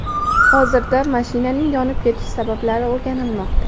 Hozirda mashinaning yonib ketishi sabablari o‘rganilmoqda.